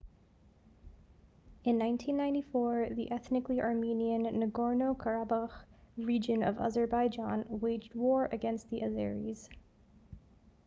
in 1994 the ethnically armenian nagorno-karabakh region of azerbaijan waged war against the azeris